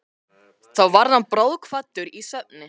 Þá varð hann bráðkvaddur í svefni.